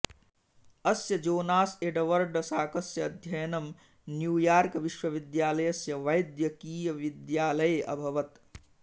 अस्य Jonas Edward साकस्य अध्ययनं न्यूयार्कविश्वविद्यालयस्य वैद्यकीयविद्यालये अभवत्